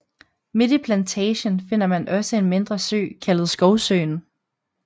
Midt i Plantagen finder man også en mindre sø kaldet Skovsøen